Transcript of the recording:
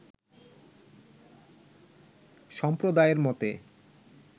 সম্প্রদায়ের মতে